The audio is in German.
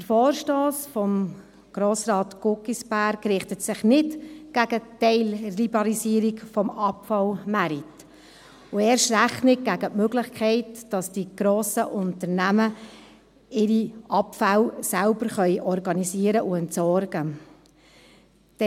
Der Vorstoss von Grossrat Guggisberg richtet sich nicht gegen die Teilliberalisierung des Abfallmarkts, und erst recht nicht gegen die Möglichkeit, dass die grossen Unternehmen ihre Abfälle selbst organisieren und entsorgen können.